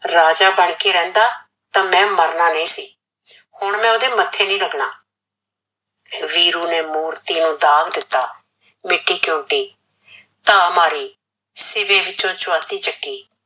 ਰਾਜਾ ਬਣ ਕੇ ਰਹਿੰਦਾ ਤਾਂ ਮੈ ਮਰਨਾ ਨਹੀਂ ਸੀ, ਹੁਣ ਮੈ ਓਦੇ ਮੱਥੇ ਨਹੀਂ ਲੱਗਣਾ, ਵੀਰੂ ਨੇ ਮੂਰਤੀ ਨੂੰ ਦਾਗ਼ ਦਿੱਤਾ ਮਿੱਟੀ ਝੁੰਡੀ ਧਾ ਮਾਰੀ ਸੀਵੇ ਵਿੱਚੋਂ ਚੁਆਤੀ ਚੱਕੀ